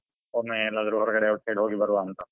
ಒಮ್ಮೆ ಎಲ್ಲಾದ್ರೂ ಹೊರಗಡೆ outside ಹೋಗಿ ಬರುವ ಅಂತ.